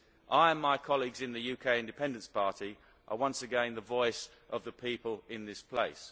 I and my colleagues in the UK Independence Party are once again the voice of the people in this place.